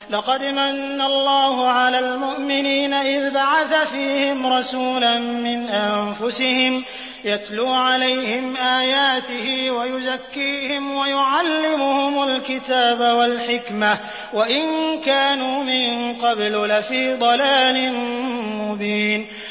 لَقَدْ مَنَّ اللَّهُ عَلَى الْمُؤْمِنِينَ إِذْ بَعَثَ فِيهِمْ رَسُولًا مِّنْ أَنفُسِهِمْ يَتْلُو عَلَيْهِمْ آيَاتِهِ وَيُزَكِّيهِمْ وَيُعَلِّمُهُمُ الْكِتَابَ وَالْحِكْمَةَ وَإِن كَانُوا مِن قَبْلُ لَفِي ضَلَالٍ مُّبِينٍ